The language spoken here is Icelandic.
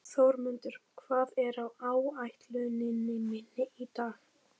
Þórmundur, hvað er á áætluninni minni í dag?